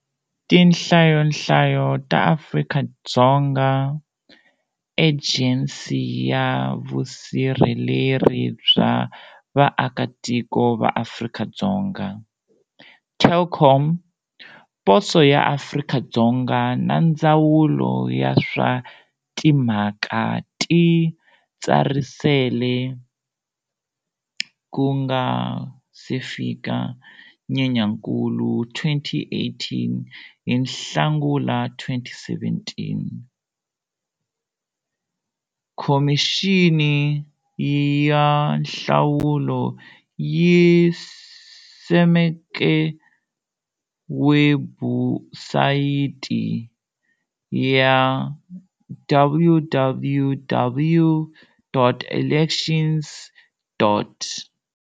Tinhlayonhlayo ta Afrika-Dzonga, Ejensi ya Vusirheleri bya Vaakatiko va Afrika-Dzonga, Telkom, Poso ya Afrika-Dzonga na Ndzawulo ya swa Timhaka Titsarisele ku nga se fika Nyenyankulu 2018 Hi Nhlangula 2017, Khomixini ya Nhlawulo yi simeke webusayiti ya www.elections.